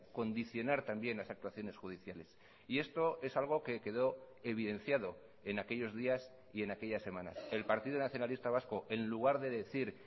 condicionar también las actuaciones judiciales y esto es algo que quedó evidenciado en aquellos días y en aquellas semanas el partido nacionalista vasco en lugar de decir